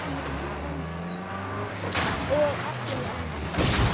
Og allir elska.